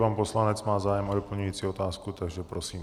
Pan poslanec má zájem o doplňující otázku, takže prosím.